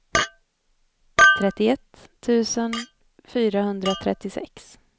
trettioett tusen fyrahundratrettiosex